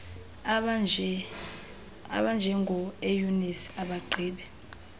abanjengo eunice abagqibe